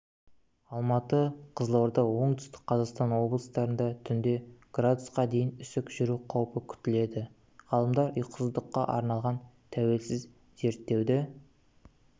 алматы қызылорда оңтүстік-қазақстан облыстарында түнде градусқа дейін үсік жүру қаупі күтіледі ғалымдар ұйқысыздыққа арналған тәуелсіз зерттеуді